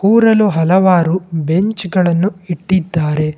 ಕೂರಲು ಹಲವಾರು ಬೆಂಚ್ ಗಳನ್ನು ಇಟ್ಟಿದ್ದಾರೆ.